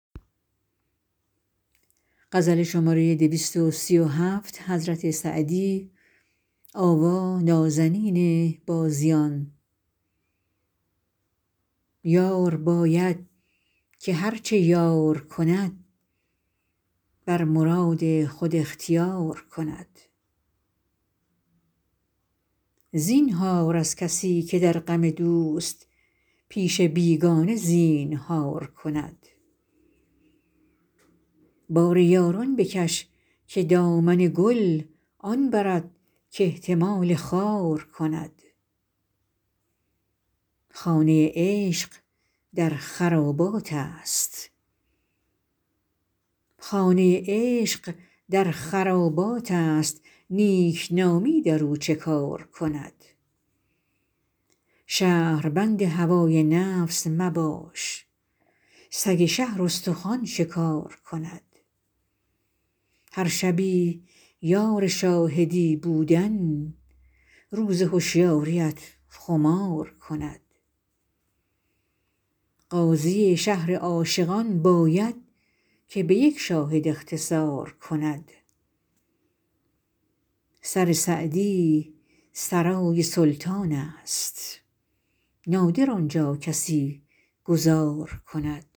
یار باید که هر چه یار کند بر مراد خود اختیار کند زینهار از کسی که در غم دوست پیش بیگانه زینهار کند بار یاران بکش که دامن گل آن برد کاحتمال خار کند خانه عشق در خراباتست نیکنامی در او چه کار کند شهربند هوای نفس مباش سگ شهر استخوان شکار کند هر شبی یار شاهدی بودن روز هشیاریت خمار کند قاضی شهر عاشقان باید که به یک شاهد اختصار کند سر سعدی سرای سلطانست نادر آن جا کسی گذار کند